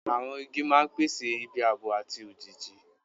Àwọn igi máa ń pèsè ibi ààbò àti òjìji.